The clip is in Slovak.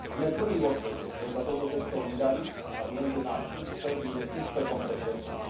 Sme prví vo svete, ktorí sa touto cestou vydali, a viem, že náš úspech bude úspechom pre všetkých.